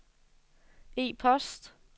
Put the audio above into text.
e-post